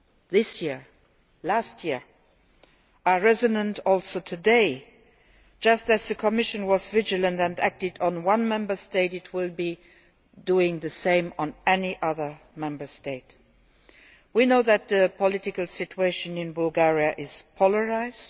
this year, last year, is also resonant today. Just as the Commission was vigilant and acted on one Member State, it will be doing the same on any other Member State. We know that the political situation in Bulgaria is polarised.